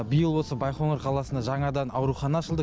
биыл осы байқоңыр қаласында жаңадан аурухана ашылды